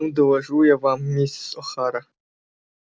ну доложу я вам миссис охара